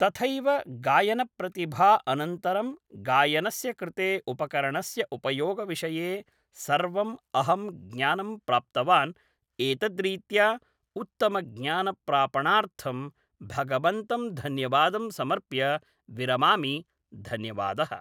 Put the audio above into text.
तथैव गायनप्रतिभा अनन्तरं गायनस्य कृते उपकरणस्य उपयोगविषये सर्वम् अहं ज्ञानं प्राप्तवान् एतद्रीत्या उत्तमज्ञानप्रापणार्थं भगवन्तं धन्यवादं समर्प्य विरमामि धन्यवादः